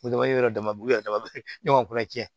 ne ko tiɲɛ